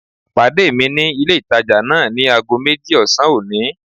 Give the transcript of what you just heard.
Pàdé ní ilé ìtajà náà ní ago méjì ọ̀sán òní